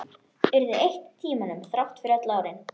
Urðu eitt í tímanum, þrátt fyrir öll árin.